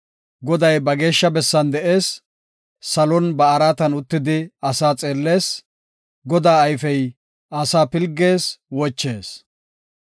Goday ba geeshsha bessan de7ees; salon ba araatan uttidi asaa xeellees; Godaa ayfey asaa pilgees; wochees.